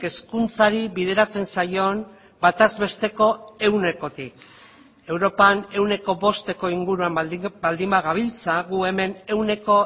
hezkuntzari bideratzen zaion bataz besteko ehunekotik europan ehuneko bosteko inguruan baldin bagabiltza gu hemen ehuneko